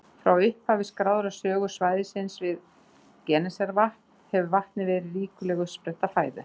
Frá upphafi skráðrar sögu svæðisins við Genesaretvatn hefur vatnið verið ríkuleg uppspretta fæðu.